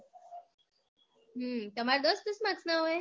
હમ તમાર દસ દસ marks ના હોય